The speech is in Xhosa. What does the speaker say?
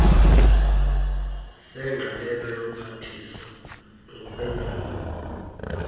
zengqalelo yomphathiswa ngokwenyanga